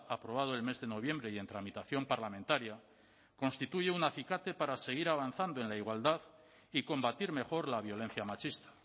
aprobado el mes de noviembre y en tramitación parlamentaria constituye un acicate para seguir avanzando en la igualdad y combatir mejor la violencia machista